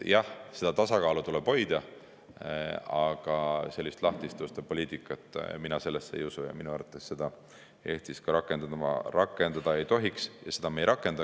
Jah, seda tasakaalu tuleb hoida, aga sellisesse lahtiste uste poliitikasse mina ei usu ja minu arvates seda Eestis rakendada ei tohiks – ja seda me ei rakenda.